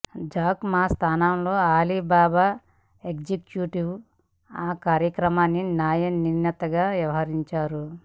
Jack Ma స్థానంలో Alibaba executive ఆ కార్యక్రమానికి న్యాయనిర్ణేతగా వ్యవహరించారు